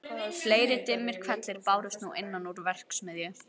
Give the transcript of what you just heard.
Fleiri dimmir hvellir bárust nú innan úr verksmiðju